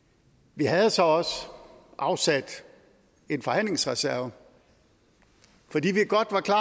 vi havde så også afsat en forhandlingsreserve fordi vi godt var klar